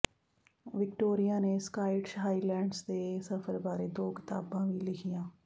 Victoria ਨੇ Scottish Highlands ਦੇ ਸਫ਼ਰ ਬਾਰੇ ਦੋ ਕਿਤਾਬਾਂ ਵੀ ਲਿਖੀਆਂ